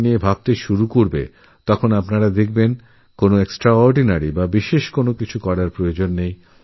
এই বিষয়ে বিবেচনা করলেদেখা যাবে অস্বাভাবিক বা মারাত্মক কোনো পরিবর্তনের দরকার নেই